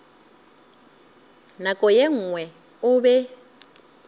nako ye nngwe o be